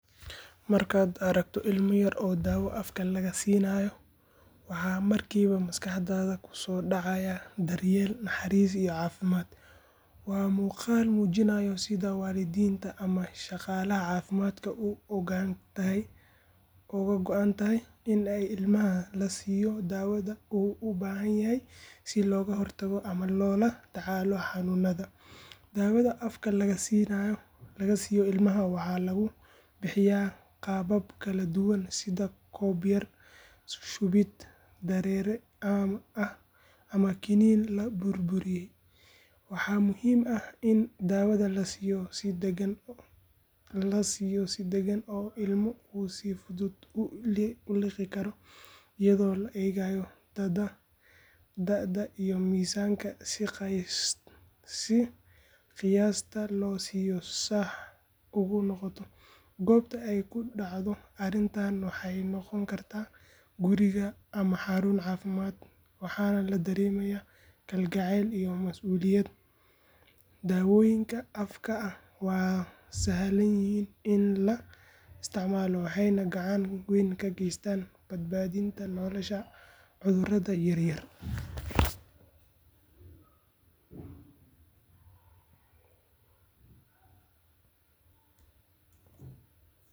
Markaad aragto ilmo yar oo daawo afka laga siinayo, waxaa markiiba maskaxdaada kusoo dhacaya daryeel, naxariis iyo caafimaad. Waa muuqaal muujinaya sida waalidiinta ama shaqaalaha caafimaadka uga go’an tahay in ilmaha la siiyo daawada uu u baahan yahay si looga hortago ama loola tacaalo xanuunada. Daawada afka laga siiyo ilmaha waxaa lagu bixiyaa qaabab kala duwan sida koob yar, shubid dareere ah ama kiniin la burburiyey. Waxaa muhiim ah in daawada la siiyo si dagan oo ilmo uu si fudud u liqi karo, iyadoo la eegayo da’da iyo miisaanka si qiyaasta loo siiyo sax ugu noqoto. Goobta ay ku dhacdo arrintani waxay noqon kartaa guriga ama xarun caafimaad waxaana la dareemayaa kalgacayl iyo mas’uuliyad. Daawooyinka afka ah waa sahlan yihiin in la isticmaalo waxayna gacan weyn ka geystaan badbaadinta nolosha caruurta yar yar.